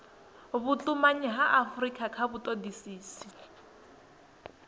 vhutumanyi ha afurika kha vhutodisisi